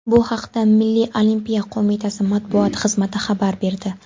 Bu haqda Milliy olimpiya qo‘mitasi matbuot xizmati xabar berdi .